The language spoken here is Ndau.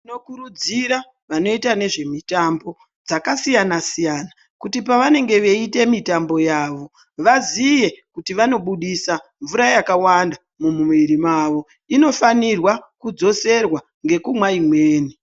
Tinokurudzira vanoita nezvemitambo dzakasiyana-siyana kuti pavanenge veita mitambo yavo vaziye kuti vanobudisa mvura yakawanda mumwiri mavo inofanirwa kudzoserwa ngekunwa imweni.